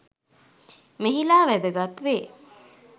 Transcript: මෙහිලා වැදගත් වේ.